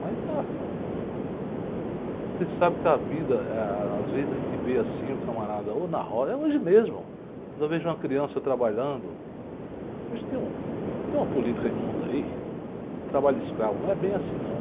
Mas, ah, você sabe que a vida, eh, às vezes a gente vê assim, o camarada, ou na roda, é hoje mesmo, quando eu vejo uma criança trabalhando, hoje tem um, tem uma política de mundo aí, de trabalho escravo, não é bem assim não.